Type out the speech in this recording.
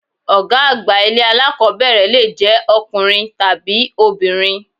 Ọ̀gá àgbà ilé alákọ̀ọ́bẹ̀rẹ̀ lè jẹ́ ọkùnrin tàbí obìnrin.